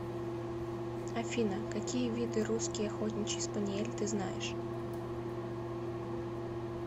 афина какие виды русский охотничий спаниель ты знаешь